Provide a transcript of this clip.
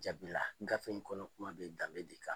Jaabi la gafe in kɔnɔna kuma bɛ danbe de kan.